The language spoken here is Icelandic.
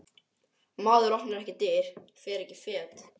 Maður opnar ekki dyr, fer ekki fet.